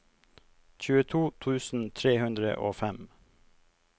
tjueto tusen tre hundre og fem